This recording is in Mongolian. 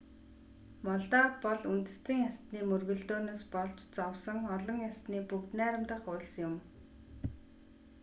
молдав бол үндэстэн ястаны мөргөлдөөнөөс болж зовсон олон ястны бүгд найрамдах улс юм